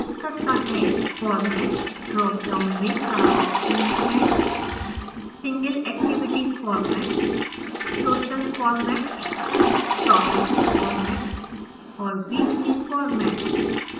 format dropdown में 4 options हैं